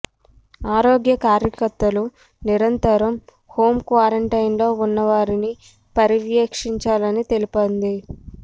ఆరోగ్య కార్యకర్తలు నిరంతరం హోం క్వారంటైన్ లో ఉన్నవారిని పర్యవేక్షించాలని తెలిపింది